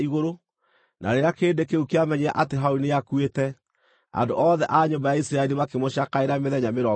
na rĩrĩa kĩrĩndĩ kĩu kĩamenyire atĩ Harũni nĩakuĩte, andũ othe a nyũmba ya Isiraeli makĩmũcakaĩra mĩthenya mĩrongo ĩtatũ.